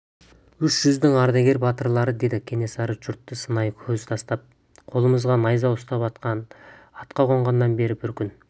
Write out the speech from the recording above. үш жүздің ардагер батырлары деді кенесары жұртты сынай көз тастап қолымызға найза ұстап атқа қонғаннан бері бір күн